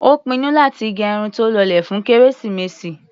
Ó pinnu láti gẹ irun tó lọlẹ̀ fún kérésìmesì.